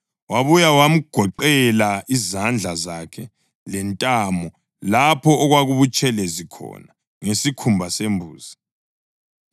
Wabuya wamgoqela izandla zakhe lentamo lapho okwakubutshelezi khona ngesikhumba sembuzi.